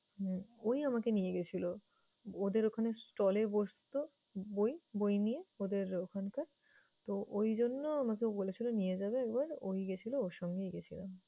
হুম ওই আমাকে নিয়ে গেছিল। ওদের ওখানে stall এ বসতো বই বই নিয়ে, ওদের ওখানকার তো ওই জন্য আমাকে বলেছিল নিয়ে যাবে একবার ওই গেছিল ওর সঙ্গেই গেছিলাম।